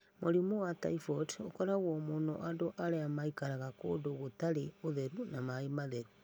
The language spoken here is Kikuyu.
Mũrimũ wa typhoid ũkoragwo mũno andũ arĩa maikaraga kũndũ gũtarĩ ũtheru na maĩ matheru.